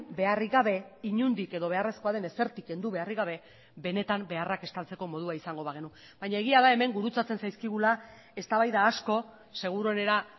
beharrik gabe inondik edo beharrezkoa den ezertik kendu beharrik gabe benetan beharrak estaltzeko modua izango bagenu baina egia da hemen gurutzatzen zaizkigula eztabaida asko seguruenera